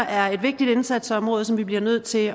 er et vigtigt indsatsområde som vi bliver nødt til